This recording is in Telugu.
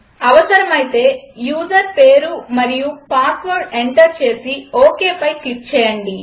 అవసరమైతే యూజర్ పేరు మరియు పాస్వర్డ్ ఎంటర్ చేసి OKపై క్లిక్ చేయండి